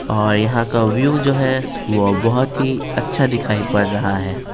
और यहां का व्यू जो है वह बहुत ही अच्छा दिखाई पड़ रहा है।